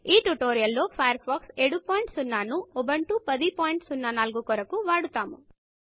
ఈ ట్యుటోరియల్ లో Firefox version 70 ను ఉబుంటు 1004 కొరకు వాడతాము